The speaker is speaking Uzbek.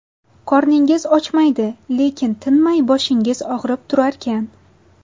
Qorningiz ochmaydi, lekin tinmay boshingiz og‘rib turarkan.